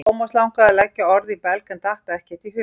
Thomas langaði að leggja orð í belg en datt ekkert í hug.